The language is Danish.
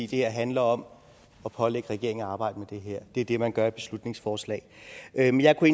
her handler om at pålægge regeringen at arbejde med det her det er det man gør med beslutningsforslag men jeg kunne